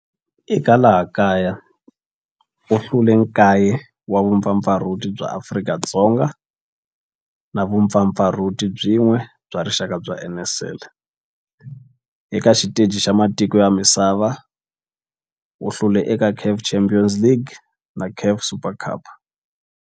Eka laha kaya u hlule 9 wa vumpfampfarhuti bya Afrika-Dzonga na vumpfampfarhuti byin'we bya rixaka bya NSL. Eka xiteji xa matiko ya misava, u hlule eka CAF Champions League na CAF Super Cup.